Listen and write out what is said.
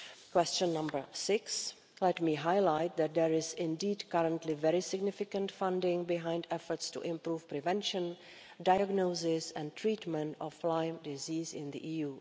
Question six let me highlight that there is indeed currently very significant funding behind efforts to improve the prevention, diagnosis and treatment of Lyme disease in the